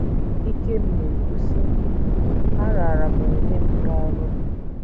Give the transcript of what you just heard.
Ikem na - ekwu, sị: “ Araara m onwe m nye ọrụ m.